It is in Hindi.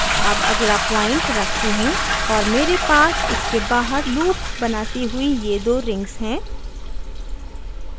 अब अगला point रखती हूँ और मेरे पास इसके बाहर loop बनाती हुई ये दो rings हैं